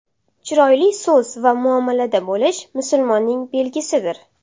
Chiroyli so‘z va muomalada bo‘lish musulmonning belgisidir.